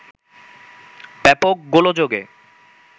ব্যাপক গোলযোগে